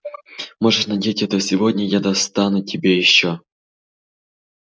можешь надеть это сегодня я достану тебе ещё